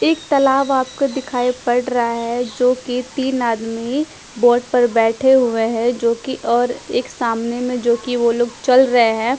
एक तलाब आपको दिखाई पड़ रहा है जोकि तिन आदमी बोट पर बेठे हुए है जोकि और एक सामने में जोकि वो लोग चल रहे है।